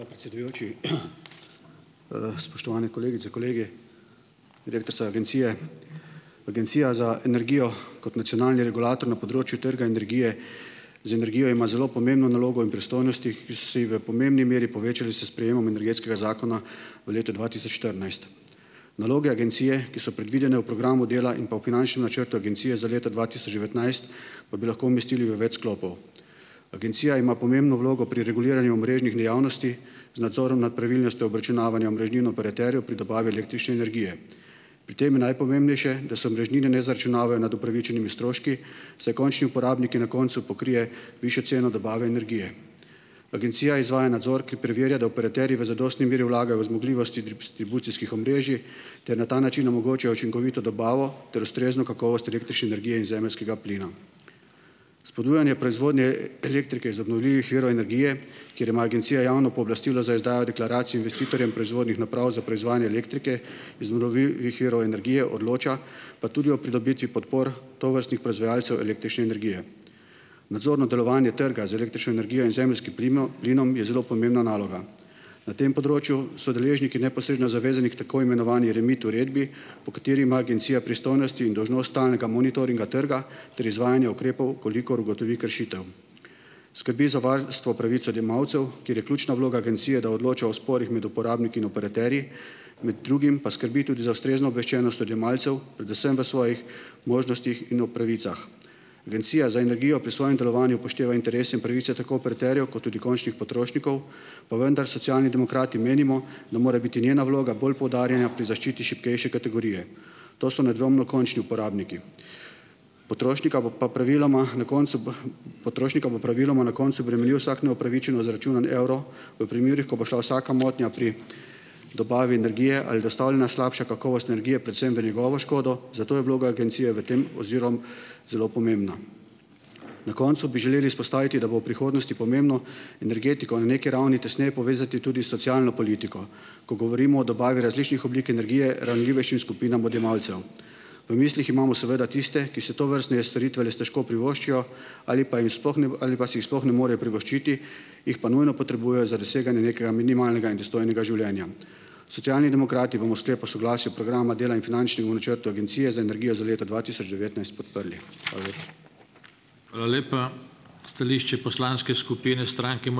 Predsedujoči, spoštovane kolegice, kolegi, direktorica agencije! Agencija za energijo, kot nacionalni regulator na področju trga energije z energijo ima zelo pomembno nalogo in pristojnosti, ki si v pomembni meri povečali s sprejemom energetskega zakona v letu dva tisoč štirinajst. Naloge agencije, ki so predvidene v programu dela in pa v finančnem načrtu agencije za leto dva tisoč devetnajst, pa bi lahko umestili v več sklopov. Agencija ima pomembno vlogo pri reguliranju omrežnih dejavnosti, z nadzorom nad pravilnostjo obračunavanja omrežnin operaterjev pri dobavi električne energije. Pri tem je najpomembnejše, da se omrežnine ne zaračunavajo nad upravičenimi stroški, saj končni uporabniki na koncu pokrijejo višjo ceno dobave energije. Agencija izvaja nadzor, ki preverja, da operaterji v zadostni meri vlagajo v zmogljivost dis- tribucijskih omrežij ter na ta način omogočajo učinkovito dobavo ter ustrezno kakovost električne energije in zemeljskega plina. Spodbujanje proizvodnje elektrike iz obnovljivih virov energije, kjer ima agencija javno pooblastilo za izdajo deklaracij investitorjem proizvodnih naprav za proizvajanje elektrike iz obnovljivih virov energije, odloča pa tudi o pridobitvi podpor tovrstnih proizvajalcev električne energije. Nadzor nad delovanje trga z električno energijo in zemeljskim plinom je zelo pomembna naloga. Na tem področju so deležniki neposredno zavezani k tako imenovani REMIT uredbi, po kateri ima agencija pristojnosti in dolžnost stalnega monitoringa trga ter izvajanje ukrepov, v kolikor ugotovi kršitev. Skrbi za varstvo pravic odjemalcev, kjer je ključna vloga agencije, da odloča o sporih med uporabniki in operaterji, med drugim pa skrbi tudi za ustrezno obveščenost odjemalcev, predvsem v svojih možnostih in o pravicah. Agencija za energijo pri svojem delovanju upošteva interese in pravice tako operaterjev kot tudi končnih potrošnikov, pa vendar Socialni demokrati menimo, da mora biti njena vloga bolj poudarena pri zaščiti šibkejše kategorije. To so nedvomno končni uporabniki. Potrošnika bo pa praviloma, na koncu, Potrošnika bo praviloma na koncu bremenil vsak neupravičeno zaračunan evro v primerih, ko bo šla vsaka motnja pri dobavi energije ali dostavljanja slabše kakovosti energije predvsem v njegovo škodo, zato je vloga agencije v tem oziroma zelo pomembna. Na koncu bi želeli izpostaviti, da bo v prihodnosti pomembno energetiko na neki ravni tesneje povezati tudi s socialno politiko, ko govorimo o dobavi različnih oblik energije ranljivejšim skupinam odjemalcev. V mislih imamo seveda tiste, ki si tovrstne storitve res težko privoščijo ali pa jim sploh ni ali pa si jih sploh ne morejo privoščiti, jih pa nujno potrebujejo za doseganje nekega minimalnega in dostojnega življenja. Socialni demokrati bomo Sklep o soglasju programa dela in finančnemu načrtu Agencije za energijo za leto dva tisoč devetnajst podprli. Hvala lepa.